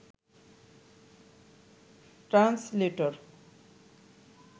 translator